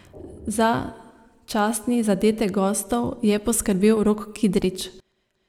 Za častni zadetek gostov je poskrbel Rok Kidrič.